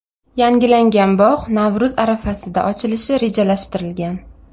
Yangilangan bog‘ Navro‘z arafasida ochilishi rejalashtirilgan.